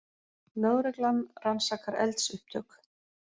Lögreglan rannsakar eldsupptök